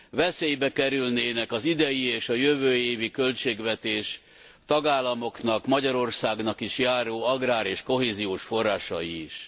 Veszélybe kerülnének az idei és a jövő évi költségvetés tagállamoknak, Magyarországnak is járó agrár és kohéziós forrásai is.